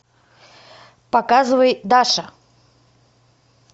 показывай даша